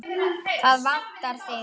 Það vantar þig.